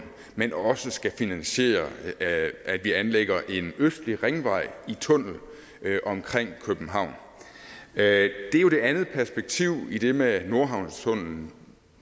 men også skal finansiere at vi anlægger en østlig ringvej i tunnel omkring københavn det er jo det andet perspektiv i det med nordhavnstunnellen